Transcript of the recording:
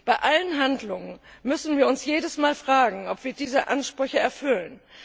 Bei allen Handlungen müssen wir uns jedes Mal fragen, ob wir diese Ansprüche erfüllen.